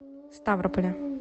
ставрополя